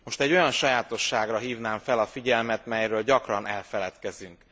Most egy olyan sajátosságra hívnám fel a figyelmet, melyről gyakran elfeledkezünk.